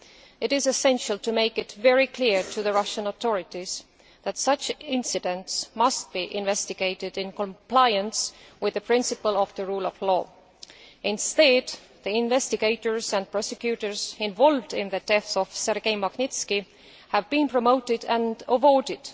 It is essential to make it very clear to the Russian authorities that such incidents must be investigated in compliance with the principle of the rule of law. Instead, the investigators and prosecutors involved in the death of Sergei Magnitsky have been promoted and rewarded.